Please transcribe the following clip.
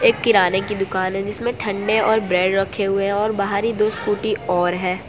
किराने की दुकान है जिसमें ठंडे और ब्रेड रखे हुए है और बाहर ही दो स्कूटी और है।